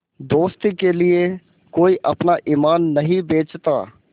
दोस्ती के लिए कोई अपना ईमान नहीं बेचता